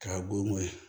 K'a golo ye